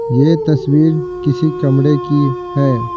यह तस्वीर किसी कमरे की है।